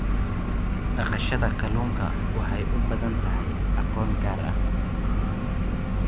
Dhaqashada kalluunka waxay u baahan tahay aqoon gaar ah.